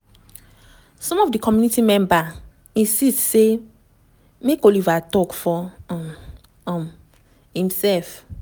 some of di committee members insist say make oliver tok for um um imserf.